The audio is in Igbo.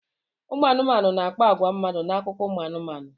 Ụmụ anụmanụ na-akpa agwa mmadụ n'akụkọ ụmụ anụmanụ.